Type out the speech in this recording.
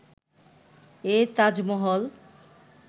এই তাজমহল